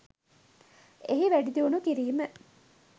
එහි වැඩිදියුණු කිරීම